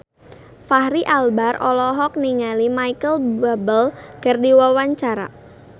Fachri Albar olohok ningali Micheal Bubble keur diwawancara